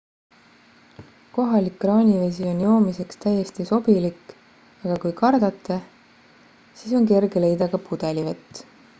kohalik kraanivesi on joomiseks täiesti sobilik aga kui kardate siis on kerge leida ka pudelivett